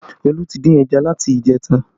Olu tí dín ẹja láti ìjẹta